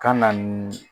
Ka na nin